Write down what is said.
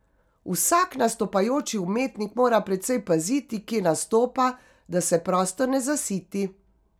Vsak nastopajoči umetnik mora precej paziti, kje nastopa, da se prostor ne zasiti.